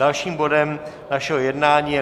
Dalším bodem našeho jednání je